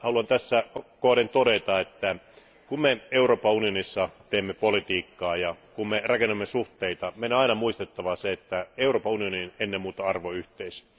Haluan tässä kohden todeta, että kun me Euroopan unionissa teemme politiikkaa ja kun me rakennamme suhteita, meidän on aina muistettava se, että Euroopan unioni on ennen muuta arvoyhteisö.